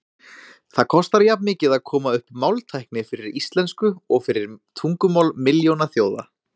Það kostar jafnmikið að koma upp máltækni fyrir íslensku og fyrir tungumál milljónaþjóða.